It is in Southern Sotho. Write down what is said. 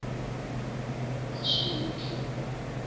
basotho